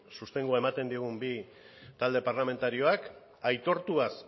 sostengua ematen diogun bi talde parlamentarioak aitortuaz